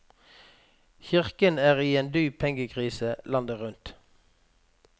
Kirken er i en dyp pengekrise landet rundt.